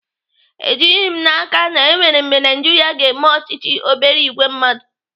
Ejighị m n'aka na enwere mgbe Naijiria ga-eme ọchịchị obere ìgwè mmadụ.